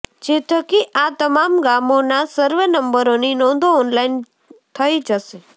જે થકી આ તમામ ગામોના સર્વે નંબરોની નોંધો ઓનલાઈન થઈ જશે